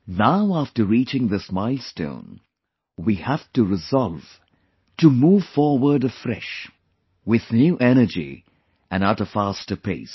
Now after reaching this milestone, we have to resolve to move forward afresh, with new energy and at a faster pace